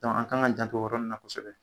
Dɔnku an kan k'an jantɔ o yɔrɔ nin na kosɛbɛ